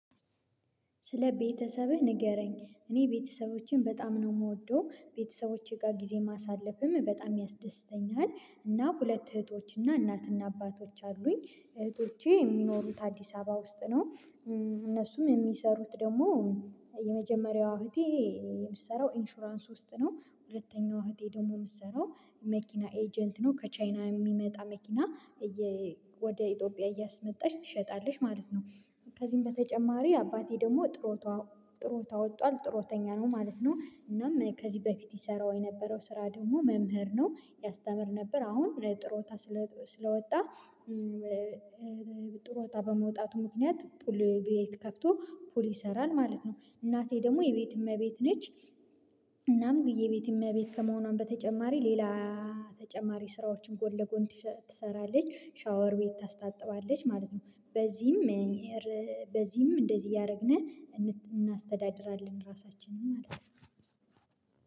ስለ ቤተሰብህ ንገረኝ? እኔ ቤተሰቦችን በጣም ነው የምወደው ቤተሰቦቼ ጋር ጊዜ ማሳለፍም በጣም ያስደስተኛል እና ሁለት እህቶች እና እናትና አባቶች አሉኝ እህቶቼ የሚኖሩት አዲስ አበባ ውስጥ ነው። እነሱም የሚሰሩት ደግሞ የመጀመሪያዋ እህቴ የምትሰራው ኢንሹራንስ ውስጥ ነው። ሁለተኛው እህቴ ደግሞ የምትሰራው መኪና ኤጀንት ነው ከቻይና የሚመጣ መኪና ወደ ኢትዮጵያ እያስመጣች ትሸጣለሽ ማለት ነው። ከዚህም በተጨማሪ አባቴ ደግሞ ጦሩታ ወጣለች ጥሩ ተኛ ነው ማለት ነው እናም ከዚህ በፊት ይሰራው የነበረው ስራ ደግሞ መምህር ነው ያስተምር ነበር። አሁን ጥሩ ወጣ ስለ ስለወጣ ጦሩታ ወጣ በመውጣቱ ምክንያት ፑል ቤት ከፍቶ ፑል ይሰራል ማለት ነው። እናቴ ደግሞ የቤት እመቤት ነች። እናም ግዬ ቤት የሚያቤት ከመሆኗም በተጨማሪ ሌላ ተጨማሪ ስራዎችን ጎን ለጎን ትሰራለች ሻወር ቤት ታስታጥባለች ማለት ነው። በዚህም በዚህም እንደዚህ እያደረግን እናስተዳድራለን ራሳችንን ማለት ነው።